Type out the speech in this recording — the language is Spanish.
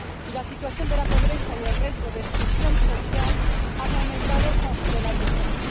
La situación de pobreza y el riesgo de exclusión social han aumentado considerablemente.